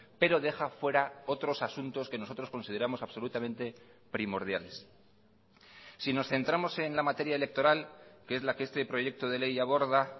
pero deja fuera otros asuntos que nosotros consideramos absolutamente primordiales si nos centramos en la materia electoral que es la que este proyecto de ley aborda